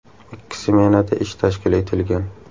Ikki smenada ish tashkil etilgan.